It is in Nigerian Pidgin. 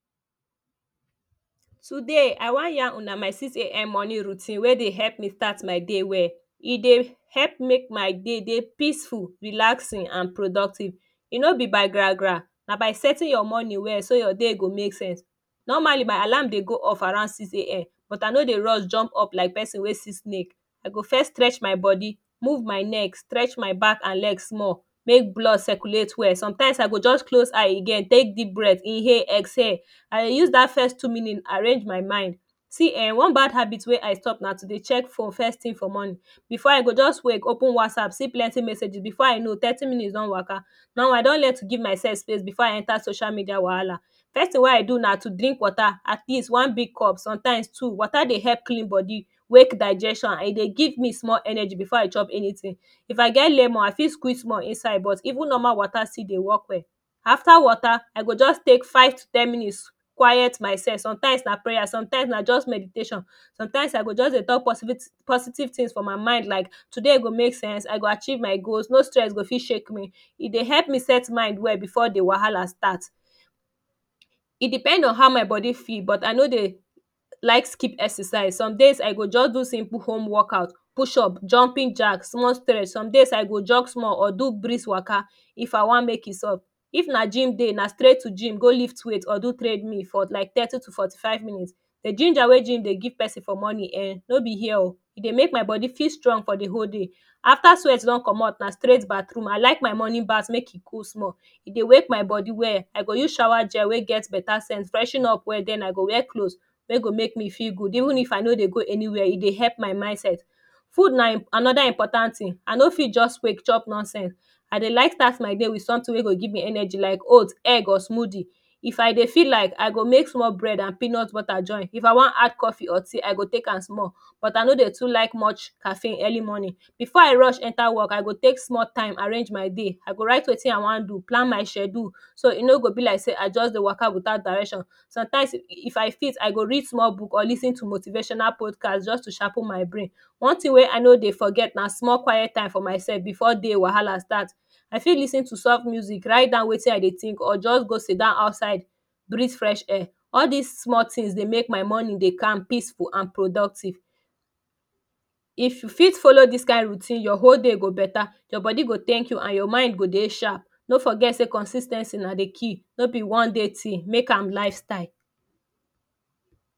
Today I wan yarn Una my six am morning routine wey dey help me start my day today e dey help make my day dey peaceful relaxing an productive e no be by gra gra na by setting your morning well so your day go make sense normally my alarm dey go off around six am but I no dey run jump up like person wey see snake I go first stretch my body move my neck stretch my back an legs small make blood circulate well sometimes I go just close eye you get tek deep breath inhale exhale an use dat first two minutes arrange my mind see eh one bad habit wey i stop na to dey check for first tin for money before I go just wake open WhatsApp see plenty messages before I know thirty minutes don waka now I don learn to give my self space before I enter social media wahala first thing wey I do na to drink wata atleast one big cup sometime two. Wata dey help clean body wake digestion and e dey give me small energy before I Choo anytin if I get lemon I fit squeeze small inside but even normal water still dey work well well after wata I go just take five to ten minutes quiet myself sometimes na prayer sometimes na just meditation sometimes I go just dey talk positive tins of any mind like today go make sense I go achieve my goals no stress go fit shake me e dey help me set mind well before de wahala start e depend on how my body feels but I know dey like skip exercise somedays I go just do simple home workout push up jumping jack small stress some days I go jog small or do breeze waka if I wan make e soft if na gym day na straight to gym go lift weight or do treadmill for like thirty to forty five minutes de ginger wey gym dey give person for morning ehh no be here oo e dey make my body feel strong for de whole day After sweat don comot na straight bathroom I like my morning bath make e cool small e wake my body well I go use shower wey get beta scent freshen up den I go wear cloth wey go make me feel good even if I no dey go anywia e dey help my mindset Food na anoda important tin I no fit just wake chop nonsense I dey like start my day wit sometin wey go give me energy like oats egg or smoothie if I dey feel like I go make small bread and peanut butter join if I wan add coffee or tea I go take am small but I no dey like much caffeine early morning before I rush enter work I go take small time enter my day I go write wetin I wan do plan my schedule so e no go be like say I just dey waka witout direction sometimes if I fit I go read small book or lis ten to motivational podcasts jus to sharpen my brain one tin wey I no dey forget na small quiet time for my self before da wahala start I fit lis ten to soft music write down wetin I dey think or just go sit down outside breath fresh air all dis small tin dey make my morning dey calm peaceful an productive if you fit follow dis kind routine your whole day go beta your body go tank you and your mind go dey sharp no forget say consis ten cy na de key no be one day tin make am lifestyle